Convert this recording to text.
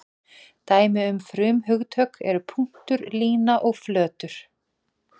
Dæmi um frumhugtök eru punktur, lína og flötur.